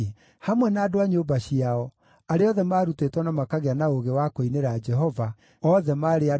Hamwe na andũ a nyũmba ciao, arĩa othe maarutĩtwo na makagĩa na ũũgĩ wa kũinĩra Jehova, othe maarĩ andũ 288.